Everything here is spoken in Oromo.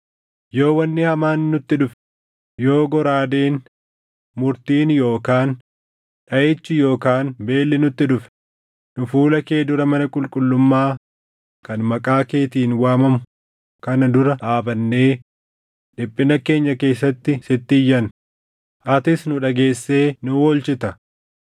‘Yoo wanni hamaan nutti dhufe, yoo goraadeen, murtiin yookaan dhaʼichi yookaan beelli nutti dhufe, nu fuula kee dura mana qulqullummaa kan Maqaa keetiin waamamu kana dura dhaabannee dhiphina keenya keessatti sitti iyyanna; atis nu dhageessee nu oolchitta.’